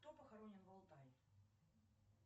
кто похоронен в алтае